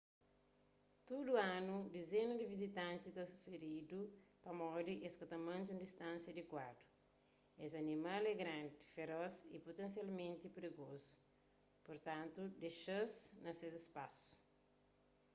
tudu anu dizena di vizitanti ta firidu pamodi es ka mante un distánsia adikuadu es animal é grandi feros y putensialmenti prigozu purtantu dexa-s na ses spasu